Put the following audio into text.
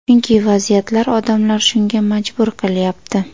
Chunki vaziyatlar, odamlar shunga majbur qilyapti.